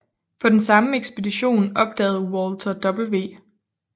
På den samme ekspedition opdagede Walter W